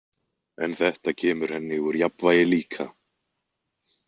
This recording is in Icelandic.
En þetta kemur henni úr jafnvægi líka.